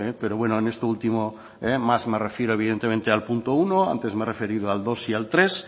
pero bueno en es este último más me refiero al punto uno antes me he referido al dos y al tres